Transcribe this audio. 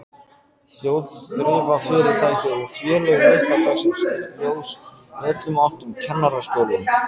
Þjóðþrifafyrirtæki og félög líta dagsins ljós í öllum áttum, Kennaraskólinn